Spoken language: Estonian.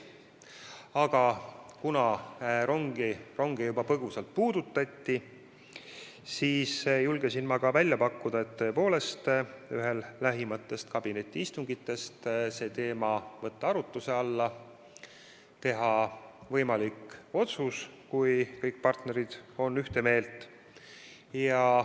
Aga kuna ronge juba põgusalt puudutati, siis julgesin ma välja pakkuda, et ühel lähimatest kabinetiistungitest võiks selle teema arutluse alla võtta ning langetada võimalik otsus, kui kõik partnerid on ühte meelt.